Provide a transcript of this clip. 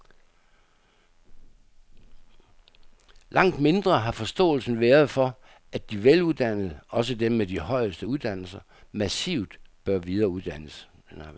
Langt mindre har forståelsen været for, at de veluddannede, også dem med de højeste uddannelser, massivt bør videreuddannes.